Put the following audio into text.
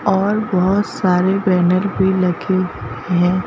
और बहुत सारे बैनर भी लगे हैं।